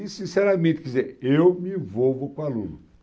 E, sinceramente, quer dizer, eu me envolvo com o aluno.